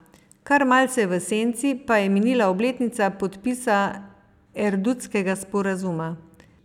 Kar malce v senci pa je minila obletnica podpisa erdutskega sporazuma.